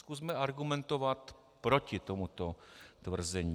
Zkusme argumentovat proti tomuto tvrzení.